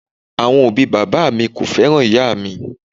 Awọn obi baba mi ko fẹran iya mi.